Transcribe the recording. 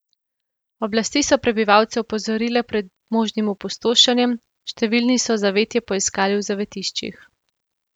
Oblasti so prebivalce opozorile pred možnim opustošenjem, številni so zavetje poiskali v zavetiščih.